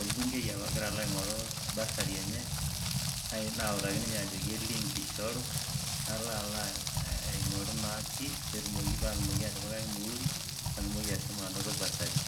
orbungei apa agira alo agoru bursary enye naautaki ninye ajo e link eishoru nalo naa aing'oru naa chief patumoki atipikaki ormuhuri paatumoki ashomo anoto bursary.